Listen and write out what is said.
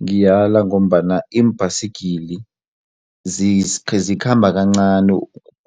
Ngiyala ngombana iimbhayisigiri zikhamba kancani